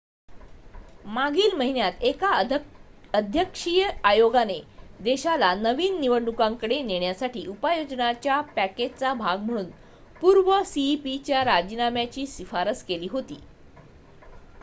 मागील महिन्यात एका अध्यक्षीय आयोगाने देशाला नवीन निवडणुकांकडे नेण्यासाठी उपाययोजनांच्या पॅकेजचा भाग म्हणून पूर्व सीईपी च्या राजीनाम्याची शिफारस केली होती